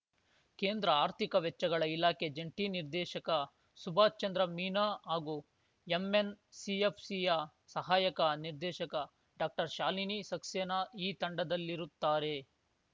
ಕೇಂದ್ರ ಆರ್ಥಿಕ ವೆಚ್ಚಗಳ ಇಲಾಖೆ ಜಂಟಿ ನಿರ್ದೇಶಕ ಸುಭಾಶ್‌ಚಂದ್ರ ಮೀನಾ ಹಾಗೂ ಎಂಎನ್‌ಸಿಎಫ್‌ಸಿಯ ಸಹಾಯಕ ನಿರ್ದೇಶಕ ಡಾಕ್ಟರ್ಶಾಲಿನಿ ಸಕ್ಸೇನಾ ಈ ತಂಡದಲ್ಲಿರುತ್ತಾರೆ